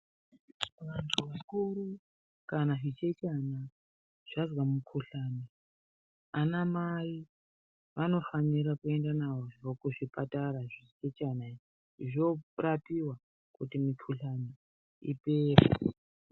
Vantu vakuru kana zvichechana zvazwa mukuhlani anamai vanofanira kuenda nazvo kuzvipatara zvichechana izvi. Zvorapiwa kuti mikuhlani ipere.